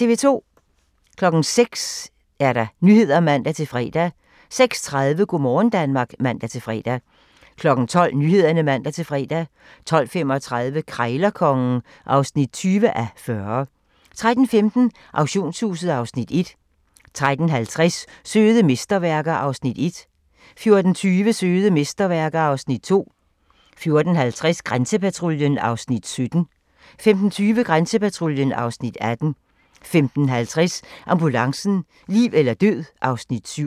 06:00: Nyhederne (man-fre) 06:30: Go' morgen Danmark (man-fre) 12:00: Nyhederne (man-fre) 12:35: Krejlerkongen (20:40) 13:15: Auktionshuset (Afs. 1) 13:50: Søde mesterværker (Afs. 1) 14:20: Søde mesterværker (Afs. 2) 14:50: Grænsepatruljen (Afs. 17) 15:20: Grænsepatruljen (Afs. 18) 15:50: Ambulancen - liv eller død (Afs. 7)